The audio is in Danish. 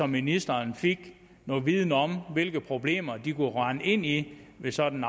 ministeren fik noget viden om hvilke problemer de kunne rende ind i med sådan